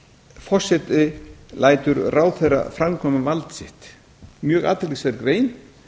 forseti lætur ráðherra framkvæma vald sitt mjög athyglisverð grein